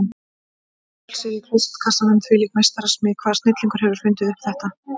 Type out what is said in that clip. Innvolsið í klósettkassanum, hvílík meistarasmíð, hvaða snillingur hefur fundið þetta upp?